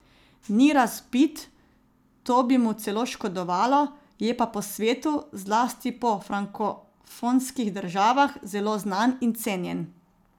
Ni razvpit, to bi mu celo škodovalo, je pa po svetu, zlasti po frankofonskih državah, zelo znan in cenjen.